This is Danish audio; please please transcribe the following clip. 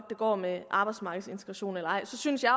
det går med arbejdsmarkedsintegrationen synes jeg